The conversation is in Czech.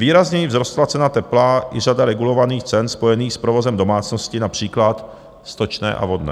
Výrazněji vzrostla cena tepla i řada regulovaných cen spojených s provozem domácnosti, například stočné a vodné.